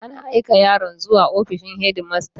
An aika yaron zuwa ofishin shedimasta.